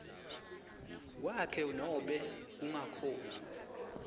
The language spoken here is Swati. kwakhe nobe kungakhoni